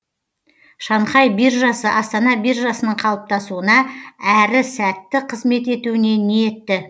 шанхай биржасы астана биржасының қалыптасуына әрі сәтті қызмет етуіне ниетті